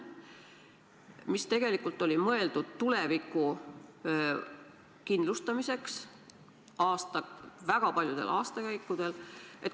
See raha tegelikult oli mõeldud tuleviku kindlustamiseks väga paljudel aastakäikudel.